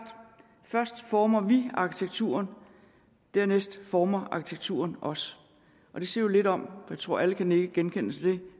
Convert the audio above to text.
først former vi arkitekturen dernæst former arkitekturen os det siger jo lidt om og jeg tror at alle kan nikke genkendende til det